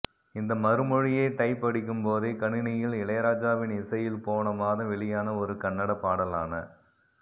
இந்த மறுமொழியை டைப் அடிக்கும் போதே கணினியில் இளையராஜாவின் இசையில் போன மாதம் வெளியான ஒரு கன்னட பாடலான